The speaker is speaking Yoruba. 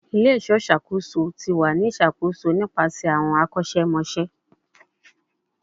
Ile-iṣọ iṣakoso ti wa ni iṣakoso nipasẹ awọn akosemose